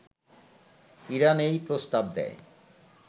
Iran এই প্রস্তাব দেয়